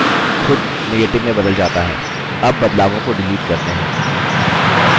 उत्तर फिर से खुद negative में बदल जाता है